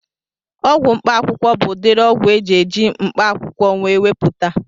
Ọgwụ mkpaakwụkwọ bụ udiri ọgwụ eji eji mkpaakwụkwọ wee mepụta